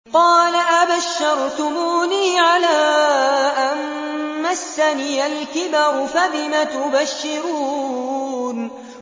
قَالَ أَبَشَّرْتُمُونِي عَلَىٰ أَن مَّسَّنِيَ الْكِبَرُ فَبِمَ تُبَشِّرُونَ